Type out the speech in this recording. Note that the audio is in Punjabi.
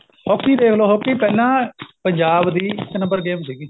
hockey ਦੇਖ ਲੋ hockey ਪਹਿਲਾਂ ਪੰਜਾਬ ਦੀ ਇੱਕ number game ਸੀਗੀ